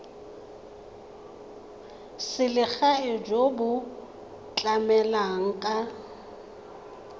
selegae jo bo tlamelang ka